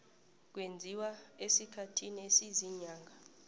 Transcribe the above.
kwenziwa esikhathini esiziinyanga